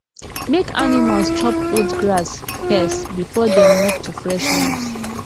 make animals chop old grass first before dem move to fresh one